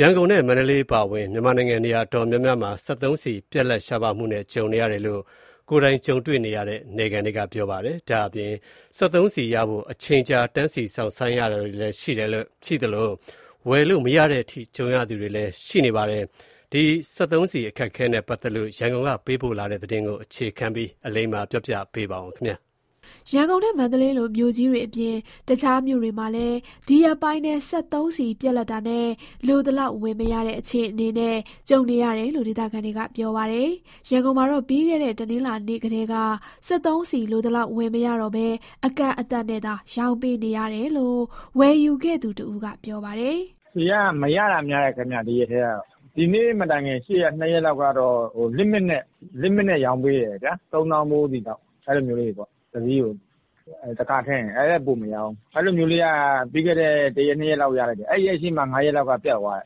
ရန်ကုန်နဲ့ မန္တလေးအပါအဝင် မြန်မာနိုင်ငံ နေရာတော်တော်များများမှာ စက်သုံးဆီ ရှားပါးမှုနဲ့ ကြုံနေရတယ်လို့ ကိုယ်တိုင်ကြုံတဲ့ နယ်ခံတွေက ပြောကြပါတယ်။ စက်သုံးဆီရဖို့ အချိန်ကြာ တန်းစီ စောင့်ဆိုင်းရတာတွေ ရှိသလို၊ ဝယ်မရတဲ့အထိ ကြုံရသူတွေလည်း ရှိနေတာပါ။ စက်သုံးဆီ အခက်အခဲနဲ့ ပတ်သက်လို့ ရန်ကုန်က သတင်းပေးပို့ထားပါတယ်။ ရန်ကုန်နဲ့ မန္တလေးလို မြို့ကြီးတွေအပြင် တခြားမြို့တွေမှာလည်း ဒီရက်ပိုင်းထဲ စက်သုံးဆီပြတ်လပ်တာနဲ့ လိုသလောက်ဝယ်မရတဲ့ အခြေအနေတွေ ကြုံနေရတယ်လို့ ဒေသခံတွေက ပြောပါတယ်။ ရန်ကုန်မှာတော့ ပြီးခဲ့တဲ့ တနင်္လာနေ့ကတည်းက စက်သုံးဆီ လိုသလောက်ဝယ်မရတော့ဘဲ အကန့်အသတ်နဲ့သာ ရောင်းပေးနေတယ်လို့ ဝယ်ယူခဲ့သူတဦးက ပြောပါတယ်။ "ဒီရက်ထဲကတော့ ဆီက မရတာများတယ်။ ဒီနေ့မတိုင်ခင် ရှေ့ ၂ရက်လောက်ကတော့ Limit နဲ့ ရောင်းပေးတယ်ဗျာ။ တစီးကို ၃သောင်းဖိုးလောက် ရောင်းပေးတယ်။ အဲထက်တော့ ပိုမရောင်းဘူး။ အဲလိုမျိုးက ပြီးခဲ့တဲ့ ၁ရက်၊ ၂ရက်လောက်က ရခဲ့တယ်ဗျ။ အဲဒီရက်ရှေ့ ၅ရက်လောက်မှာ ပြတ်သွား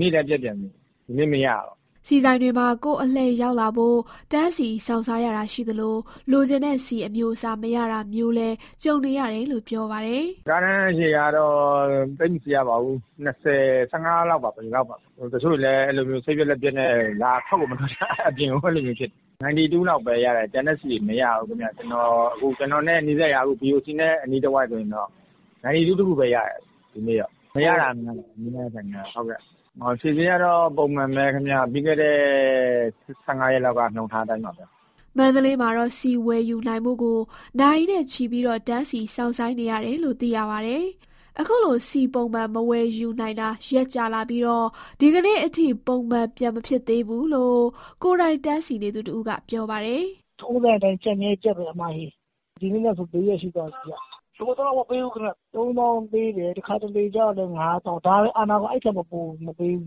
သေးတယ်။ ဒီနေ့လည်း ပြတ်ပြန်ပြီ။ ဒီနေ့မရဘူး။" ဆီဆိုင်တွေမှာ ကိုယ့်အလှည့်ရောက်လာဖို့ တန်းစီစောင့်ဆိုင်းရတာ ရှိသလို၊ လိုချင်တဲ့ဆီ အမျိုးအစား မရတာမျိုးလည်း ကြုံနေရတယ်လို့ ပြောပါတယ်။ "ကားတန်းအရှည်ကတော့ သိပ်မစီရပါဘူး၊ ၁၅ စီး - ၂၀ ဒီလောက်ပါပဲ။ တချို့တွေလည်း စိတ်ပျက်လက်ပျက်နဲ့ အပြင်ကိုမထွက်တော့တာ။ 92 လောက်ပဲရတယ်၊ ကျန်တဲ့ဆီတွေ မရဘူးခင်ဗျ။ ကျနော်နဲ့နီးစပ်ရာ အခု BOC နဲ့ အနီးတဝိုက်ဆိုရင်တော့ ဒီနေ့က 92 တခုပဲရတယ်။ မရတာကများတယ်။ ဆီဈေးကတော့ ပုံမှန်ပဲခင်ဗျ။ ပြီးခဲ့တဲ့ ၁၅ ရက်လောက်က နှုန်းထားအတိုင်းပါပဲ။" မန္တလေးမြို့မှာတော့ ဆီဝယ်ယူနိုင်ဖို့ကို နာရီနဲ့ချီ တန်းစီစောင့်ဆိုင်းနေရတယ်လို့ သိရပါတယ်။ အခုလို ဆီပုံမှန်မဝယ်ယူနိုင်တာ ရက်ကြာလာပြီး၊ ဒီကနေ့အထိ ပုံမှန်ပြန်မဖြစ်သေးဘူးလို့ ကိုယ်တိုင်တန်းစီနေသူ တဦးက ပြောပါတယ်။ "ထုံးစံအတိုင်း ကျပ်မြဲကျပ်ပဲ။ ဒီနေ့နဲ့ဆို ၄ရက်ရှိသွားပြီ။ လိုသလောက် မပေးဘူးခင်ဗျ။ ၃သောင်းဖိုးပေးတယ်။ တခါတလေကျတော့လည်း ၅သောင်းပေးတယ်။ အဲထက်တော့မပိုဘူး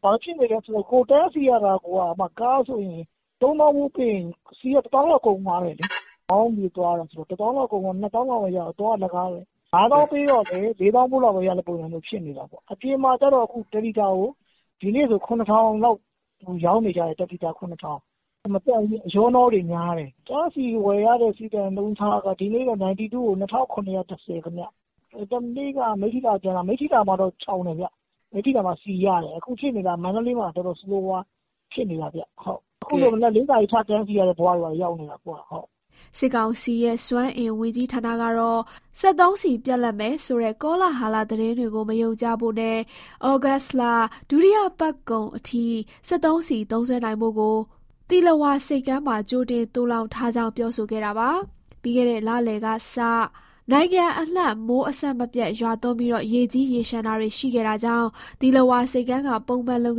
။ ဘာဖြစ်နေလဲဆိုတော့ ကိုယ်တန်းစီရတာကိုက ကားဆိုရင် ၃သောင်းဖိုးပေးရင် ဆီက ၁သောင်းလောက် ကုန်သွားတယ်လေ။ မောင်းပြီးသွားရတာဆိုတော့ ၁သောင်းဖိုးလောက်က တန်းစီရင်းကုန်တာပဲ။ ၅သောင်းဖိုးပေးတော့လည်း ၄သောင်းလောက်ရတဲ့ ပုံစံမျိုးဖြစ်နေတာပေါ့။ အပြင်မှာကတော့ ဒီနေ့ဆို ဆီတလီတာကို ၇,၀၀၀ လောက် ရောင်းနေကြတယ်။ အဲဒီအပြင်ဆီတွေက မသန့်ဘူးဗျ၊ အရောအနှောများတယ်။ တန်းစီဝယ်ရတဲ့ ဆီဆိုင်နှုန်းထားက ဒီနေ့ဆို 92 ကို ၂,၇၁၀ ခင်ဗျ။ ဟိုတနေ့က မိတ္ထီလာကနေ ပြန်လာတာ၊ မိတ္ထီလာမှာတော့ ချောင်တယ်ဗျ။ မိတ္ထီလာမှာက ဆီရတယ်။ အခုဖြစ်နေတာက မန္တလေးမှာက တော်တော်ဆိုးဆိုးရွားရွား ဖြစ်နေတာဗျ။ အခုဆို မနက် ၄နာရီ ထတန်းစီရတဲ့ ဘဝတွေရောက်နေတာ။" စစ်ကောင်စီရဲ့ စွမ်းအင်ဝန်ကြီးဌာနကတော့ စက်သုံးဆီပြတ်လပ်မယ်ဆိုတဲ့ ကောလဟာလသတင်းတွေကို မယုံကြဖို့နဲ့ ဩဂုတ်လ ဒုတိယပတ်ကုန်အထိ စက်သုံးဆီသုံးစွဲနိုင်ဖို့ကို သီလဝါဆပ်ကမ်းမှာ ကြိုတင်သိုလှောင်ထားကြောင်း ပြောဆိုခဲ့တာပါ။ ပြီးခဲ့တဲ့ လလယ်ကစ နိုင်ငံအနှံ့ မိုးအဆက်မပြတ် ရွာသွန်းပြီး ရေကြီးရေလျှံတာတွေ ရှိခဲ့တာကြောင့် သီလဝါ ဆိပ်ကမ်းက ပုံမှန်လုပ်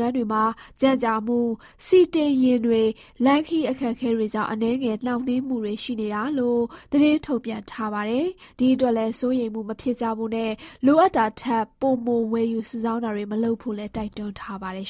ငန်းတွေမှာ ကြန့်ကြာမှု၊ ဆီတင်ယာဉ်တွေ လမ်းခရီး အခက်အခဲတွေကြောင့် အနည်းငယ် နှောင့်နှေးမှုတွေ ရှိနေတာလို့ သတင်းထုတ်ပြန်ထားပါတယ်။ ဒီအတွက်လည်း စိုးရိမ်မှုမဖြစ်ကြဖို့နဲ့ လိုအပ်တာထက် ပိုမိုဝယ်ယူ စုဆောင်းတာတွေ မလုပ်ဖို့လည်း တိုက်တွန်းထားပါတယ်